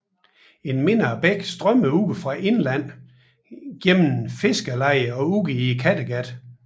En mindre bæk strømmede fra indlandet gennem fiskerlejet ud i Kattegat